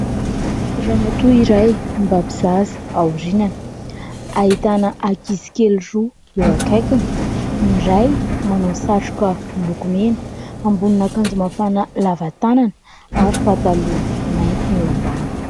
Ramatoa iray mibaby zaza ao aoriany. Ahitana ankizikely roa eo akaikiny; ny iray manao satroka miloko mena, ambonin'akanjo mafana lava tanana ary pataloha mainty eo ambany.